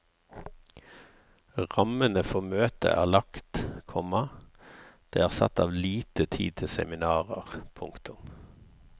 Rammene for møtet er lagt, komma det er satt av lite tid til seminarer. punktum